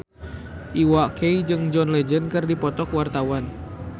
Iwa K jeung John Legend keur dipoto ku wartawan